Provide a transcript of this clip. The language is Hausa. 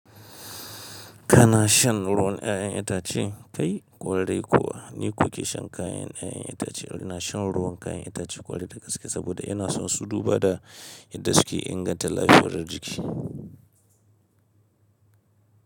Kana shan ruwan 'ya'yan itace? Kai! Kwarai kuwa. Ni kuke shan kayan 'ya'yan itace. Ina shan ruwan kayan itace kwarai da gaske saboda ina son su duba da yadda suke inganta lafiyar jiki.